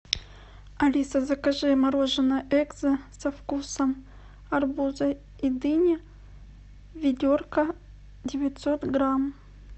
алиса закажи мороженое экзо со вкусом арбуза и дыни ведерко девятьсот грамм